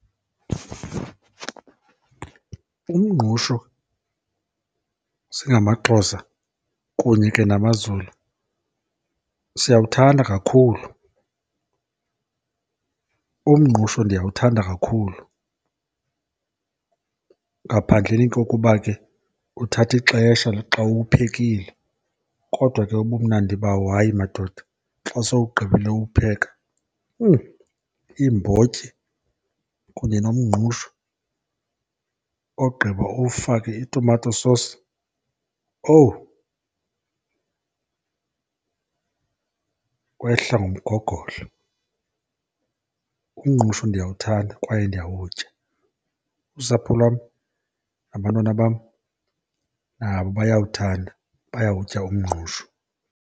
Umngqusho singamaXhosa kunye ke namaZulu siyawuthanda kakhulu. Umngqusho ndiyawuthanda kakhulu ngaphandleni kokuba ke uthatha ixesha xa uwuphekile kodwa ke ubumnandi bawo, hayi madoda, xa sowugqibile uwupheka. Iimbotyi kunye nomngqusho, ogqiba uwufake itumato sosi, owu kwehla ngomgogodlo. Umngqusho ndiyawuthanda kwaye ndiyawutya. Usapho lwam nabantwana bam, nabo bayawuthanda, bayawutya umngqusho.